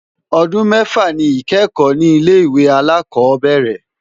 Ọdún mẹ́fà ni ìkẹ́kọ̀ọ́ ní ilé ìwé alákọ̀ọ́bẹ̀rẹ̀.